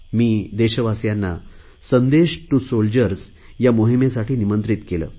मी देशवासियांना संदेश to soldiers या मोहिमेसाठी निमंत्रित केले